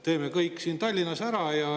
Teeme kõik siin Tallinnas ära.